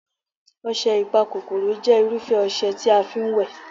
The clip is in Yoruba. ọsẹ Ipakokoro jẹ́ irufẹ ọsẹ tí a fi ń wẹ̀